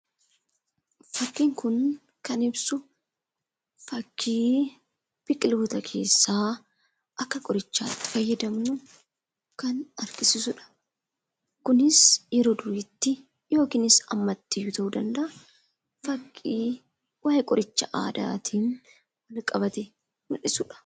Fakkiin kun kan ibsu fakkii biqiloota keessaa akka qorichaatti fayyadamnu kan argisiisudha. Kunis yeroo duriitti yookiinis ammatti ta'uu danda'a, fakkii waa'ee qoricha aadaatiin wal qabate mul'isudha.